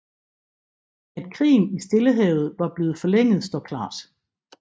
At krigen i Stillehavet var blevet forlænget står klart